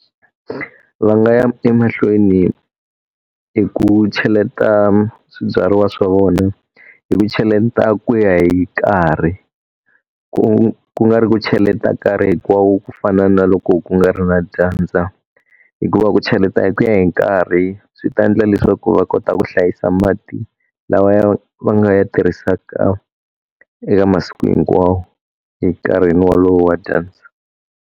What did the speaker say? Va nga ya emahlweni hi ku cheleta swibyariwa swa vona, hi ku cheleta ku ya hi karhi. Ku ku nga ri ku cheleta karhi hinkwawo ku fana na loko ku nga ri na dyandza. Hikuva ku cheleta hi ku ya hi nkarhi swi ta endla leswaku va kota ku hlayisa mati lawa ya va nga ya tirhisaka eka masiku hinkwawo hi nkarhi wolowo wa dyandza.